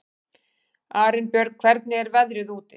Arinbjörg, hvernig er veðrið úti?